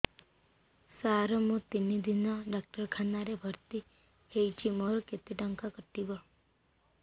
ସାର ମୁ ତିନି ଦିନ ଡାକ୍ତରଖାନା ରେ ଭର୍ତି ହେଇଛି ମୋର କେତେ ଟଙ୍କା କଟିବ